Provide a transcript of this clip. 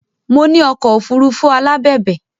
Mo ní ọkọ̀ òfuurufú alábẹ̀bẹ̀